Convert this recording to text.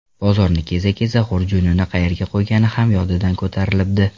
Bozorni keza-keza xurjunini qayerga qo‘ygani ham yodidan ko‘tarilibdi.